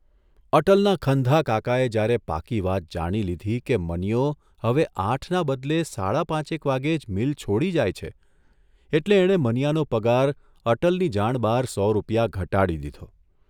અટલના ખંધા કાકાએ જ્યારે પાકી વાત જાણી લીધી કે મનીયો હવે આઠના બદલે સાડા પાંચેક વાગ્યે જ મીલ છોડી જાય છે એટલે એણે મનીયાનો પગાર અટલની જાણ બહાર સો રૂપિયા ઘટાડી દીધો.